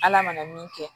Ala mana min kɛ